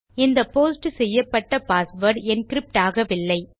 இந்த போஸ்ட் செய்யப்பட்ட password encrypt ஆகவில்லை